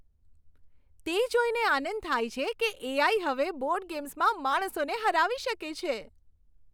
તે જોઈને આનંદ થાય છે કે એ.આઇ. હવે બોર્ડ ગેમ્સમાં માણસોને હરાવી શકે છે.